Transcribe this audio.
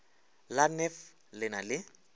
la nef le na le